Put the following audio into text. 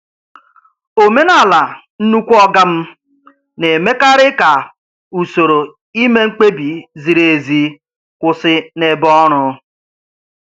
Omenala "nnukwu oga m" na-emekarị ka usoro ime mkpebi ziri ezi kwụsị n'ebe ọrụ.